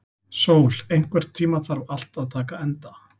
Sól, einhvern tímann þarf allt að taka enda.